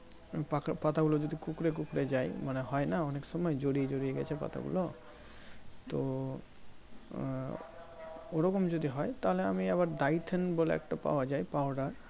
পাকা পাতা গুলো যদি কুঁকড়ে কুঁকড়ে যাই মানে হয়না অনেক সময় জড়িয়ে জড়িয়ে গেছে পাতা গুলো তো আহ ওই রকম যদি হয় তাহলে আমি আবার Dyphane বলে একটা পাওয়া যাই powder